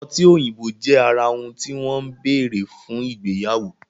ọtí òyìnbó jẹ ara òun ti wọn bẹrẹ fún igbeyawo.